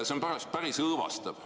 See on päris õõvastav.